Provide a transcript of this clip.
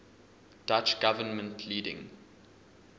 dutch government leading